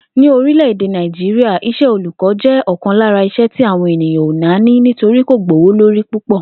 Ní orílè̩-èdè Nàìjíríà, is̩é̩ olùkó̩ jé̩ ò̩kan lára iṣẹ́ tí àwọn ènìyàn ò nání nítorí kò gbówó lórí púpò̩